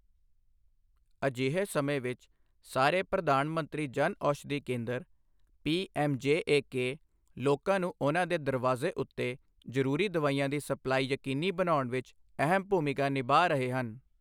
ਅਜਿਹੇ ਸਮੇਂ ਵਿੱਚ ਸਾਰੇ ਪ੍ਰਧਾਨ ਮੰਤਰੀ ਜਨ ਔਸ਼ਧੀ ਕੇਂਦਰ ਪੀਐੱਮਜੇਏਕੇ ਲੋਕਾਂ ਨੂੰ ਉਨ੍ਹਾਂ ਦੇ ਦਰਵਾਜ਼ੇ ਉੱਤੇ ਜ਼ਰੂਰੀ ਦਵਾਈਆਂ ਦੀ ਸਪਲਾਈ ਯਕੀਨੀ ਬਣਾਉਣ ਵਿੱਚ ਅਹਿਮ ਭੂਮਿਕਾ ਨਿਭਾ ਰਹੇ ਹਨ।